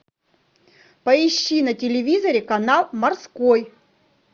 поищи на телевизоре канал морской